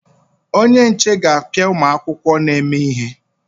Onye nche ga-apịa ụmụ akwụkwọ na-eme ihe.